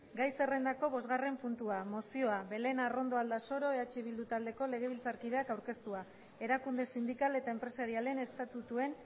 gai zerrendako bosgarren puntua mozioa belén arrondo aldasoro eh bildu taldeko legebiltzarkideak aurkeztua erakunde sindikal eta enpresarialen estatutuen